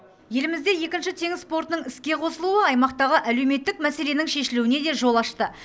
елімізде екінші теңіз портының іске қосылуы аймақтағы әлеуметтік мәселенің шешілуіне де жол ашты